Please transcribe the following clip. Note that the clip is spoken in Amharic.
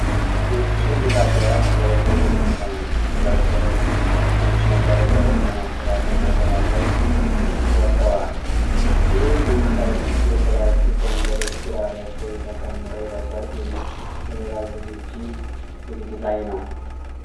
ውስጥ ትልቅ አዳራሽ ሰዎች በዝግጅት ላይ ናቸው። ሁለት ሰዎች ነጭ መጋረጃዎችን ለማስተካከል መሰላል ላይ ወጥተዋል። ብዙ ቀይ የፕላስቲክ ወንበሮች ግራ በኩል ተከምረው ለሠርግ ወይም ለሌላ ዝግጅት ዝግጅት ላይ ነው።